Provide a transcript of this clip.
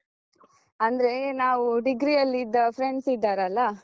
ಅಂದ್ರೆ ನಾವು degree ಯಲ್ಲಿದ್ದ friends ಇದ್ದಾರಲ್ಲ?